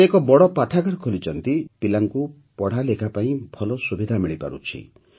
ସେ ଏକ ବଡ଼ ପାଠାଗାର ଖୋଲିଛନ୍ତି ଯାହାଦ୍ୱାରା ପିଲାଙ୍କୁ ପଢ଼ାଲେଖା ପାଇଁ ଭଲ ସୁବିଧା ମିଳିପାରୁଛି